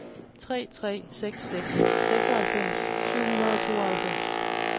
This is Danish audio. tre tre seks seks seksoghalvfems syv hundrede og tooghalvfems